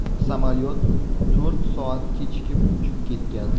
Samolyot to‘rt soat kechikib uchib ketgan.